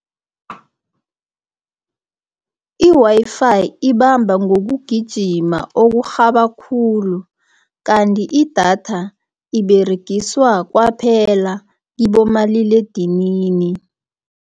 I-Wi-Fi, ibamba ngobugijima oburhaba khulu, kanti idatha iberegiswa kwaphela kibomaliledinini.